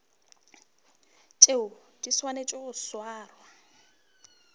tšeo di swanetšego go swarwa